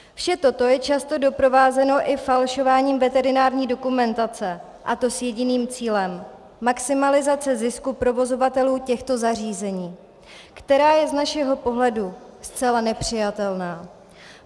Vše toto je často doprovázeno i falšováním veterinární dokumentace, a to s jediným cílem: maximalizace zisku provozovatelů těchto zařízení, která je z našeho pohledu zcela nepřijatelná.